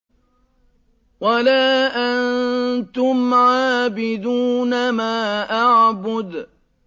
وَلَا أَنتُمْ عَابِدُونَ مَا أَعْبُدُ